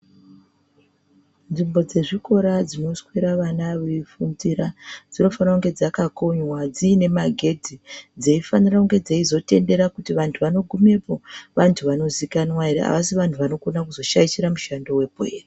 Nzvimbo dzezvikora dzinoswera vana veifundira dzinofanira kunge dzakakonywa, dzine magedhi, dzeifanira kunge dzeizotendera kuti vantu vanogumepo vantu vanozikanwa ere, havasi vantu vanokona kuzoshaishira mushando wepo here.